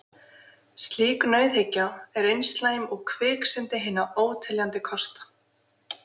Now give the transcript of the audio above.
Slík nauðhyggja er eins slæm og kviksyndi hinna óteljandi kosta.